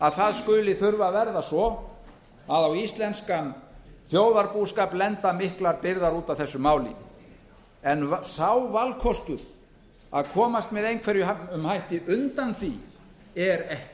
að það skuli þurfa að verða svo að á íslenskan þjóðarbúskap lenda miklar byrðar út af þessu máli en sá valkostur að komast með einhverjum hætti undan því er ekki